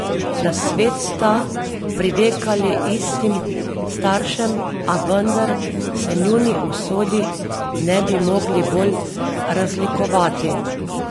Na svet sta privekali istim staršem, a vendar se njuni usodi ne bi mogli bolj razlikovati.